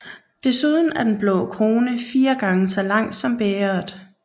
Desuden er den blå krone fire gange så lang som bægeret